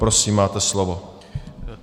Prosím, máte slovo.